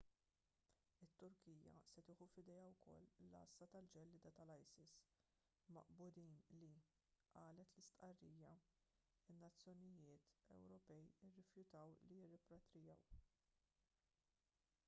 it-turkija se tieħu f'idejha wkoll l-għassa tal-ġellieda tal-isis maqbudin li qalet l-istqarrija in-nazzjonijiet ewropej irrifjutaw li jirripatrijaw